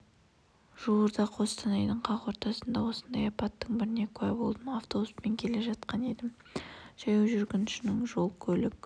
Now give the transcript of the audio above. жуырда қостанайдың қақ ортасында осындай апаттың біріне куә болдым автобуспен келе жатқан едім жаяу жүргіншінің жол-көлік